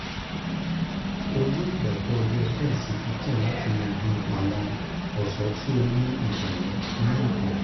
o yoo gba to ọjọ ten si fifteen lati yanju awọn ọṣọ ti o ni itọwọ ni itọwọ